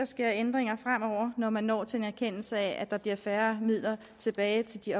ske ændringer fremover når man når til en erkendelse af at der bliver færre midler tilbage til de